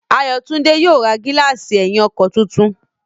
Ayọ̀túndé yóò ra gílààsì ẹ̀yìn ọkọ̀ tuntun